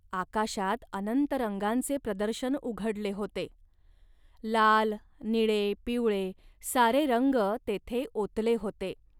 आकाशात अनंत रंगांचे प्रदर्शन उघडले होते. लाल, निळे, पिवळे सारे रंग तेथे ओतले होते